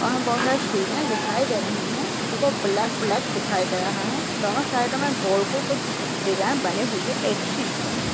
वहाँ बहुत सिढियाँ दिखाई दे रही है ऊपर ब्लैक ब्लैक दिखाई दे रहा है दोनों साइड मे गोल गोल कुछ डिजाइन बनी हुई एक सी --